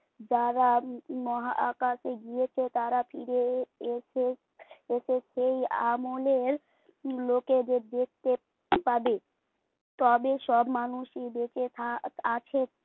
যারা মহাকাশে গিয়েছে তারা ফিরে এ এস এসেই সেই আমলের লোকেদের দেখতে পাবে। তবে সব মানুষই বেঁচে থাক আছে